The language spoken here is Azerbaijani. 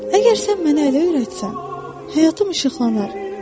Əgər sən mənə əylə öyrətsən, həyatım işıqlanar.